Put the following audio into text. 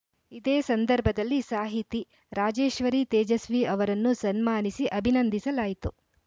ಇದೇ ಸಂದರ್ಭದಲ್ಲಿ ಸಾಹಿತಿ ರಾಜೇಶ್ವರಿ ತೇಜಸ್ವಿ ಅವರನ್ನು ಸನ್ಮಾನಿಸಿ ಅಭಿನಂದಿಸಲಾಯಿತು